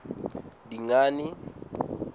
dingane